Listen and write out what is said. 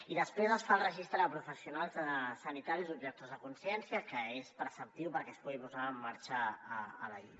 i després es fa el registre de professionals sanitaris objectors de consciència que és preceptiu perquè es pugui posar en marxa la llei